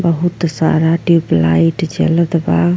बहुत सारा ट्यूबलाइट जलत बा।